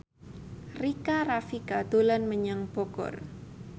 Rika Rafika dolan menyang Bogor